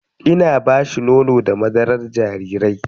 Ina ba shi nono da madarar jarirai.